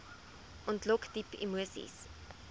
ontlok diep emoseis